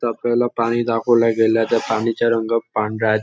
ता आपल्याला पाणी दाखवलं गेलं आहे त्या पाण्याचा रंग पांढरा आहे.